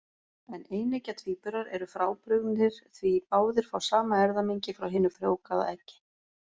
En eineggja tvíburar eru frábrugðnir, því báðir fá sama erfðamengi frá hinu frjóvgaða eggi.